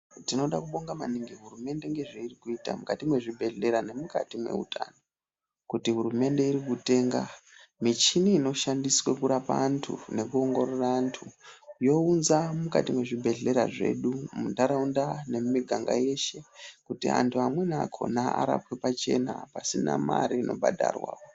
Tinoda kubonga maningi hurumende nezvairi kuita, mukati mwezvibhedhlera nemukati mwehutano. Kuti hurumende iri kutenga michini inoshandiswa kurapa antu nekuongorora antu, younza mukati mwezvibhedhlera zvedu muntharaunda nemumiganga yeshe kuti antu amweni akhona arapwe pachena pasina mare inobhadharwa.